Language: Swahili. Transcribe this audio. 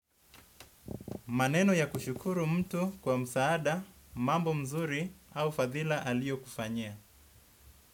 Maneno ya kushukuru mtu kwa msaada, mambo mazuri au fadhila aliyokufanyia.